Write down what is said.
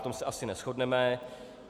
V tom se asi neshodneme.